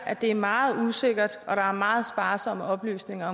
at det er meget usikkert og at der er meget sparsomme oplysninger